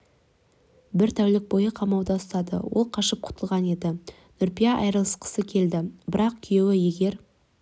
бір тәулік бойы қамауда ұстады ол қашып құтылған еді нүрипа айырылысқысы келді бірақ күйеуі егер